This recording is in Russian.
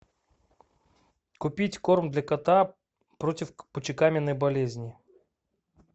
купить корм для кота против мочекаменной болезни